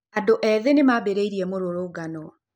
Andũ ethĩ nĩ maambĩrĩirie mũrũrũngano.